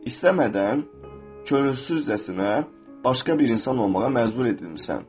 İstəmədən, könülsüzcəsinə başqa bir insan olmağa məcbur edilmişsən.